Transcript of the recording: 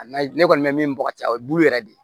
N'a ne kɔni bɛ min bɔgɔti a ye bulu yɛrɛ de